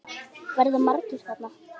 Verða margir þarna?